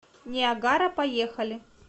ниагара поехали